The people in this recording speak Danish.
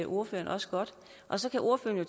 ordføreren også godt og så kan ordføreren jo